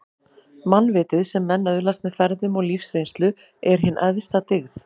Mannvitið, sem menn öðlast með ferðum og lífsreynslu, er hin æðsta dyggð